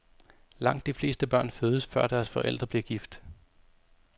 Langt de fleste børn fødes før deres forældre bliver gift.